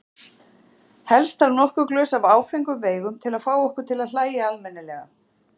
Helst þarf nokkur glös af áfengum veigum til að fá okkur til að hlæja almennilega.